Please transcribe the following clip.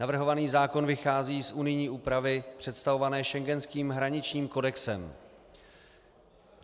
Navrhovaný zákon vychází z unijní úpravy představované schengenským hraničním kodexem.